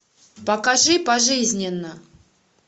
покажи пожизненно